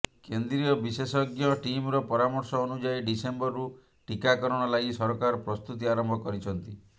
କେନ୍ଦ୍ରୀୟ ବିଶେଷଜ୍ଞ ଟିମ୍ର ପରାମର୍ଶ ଅନୁଯାୟୀ ଡିସେମ୍ବରରୁ ଟୀକାକରଣ ଲାଗି ସରକାର ପ୍ରସ୍ତୁତି ଆରମ୍ଭ କରିଛନ୍ତି